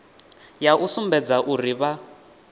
ya u sumbedza uri vha